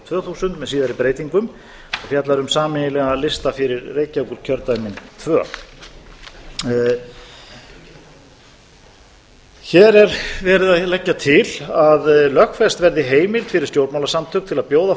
tvö þúsund með síðari breytingum og fjallar um sameiginlegan lista fyrir reykjavíkurkjördæmin tvö hér er verið að leggja til að lögfest verði heimild fyrir stjórnmálasamtök til að bjóða